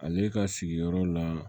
Ale ka sigiyɔrɔ la